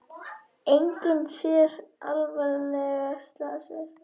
Enginn sé alvarlega slasaður